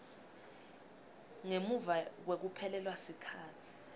ngemuva kwekuphelelwa sikhatsi